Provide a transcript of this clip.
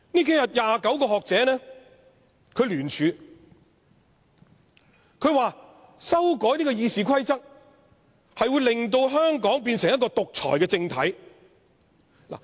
近日有29名學者聯署，指出修改《議事規則》將令香港變成獨裁政體。